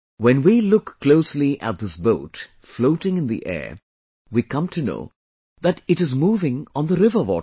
When we look closely at this boat floating in the air, we come to know that it is moving on the river water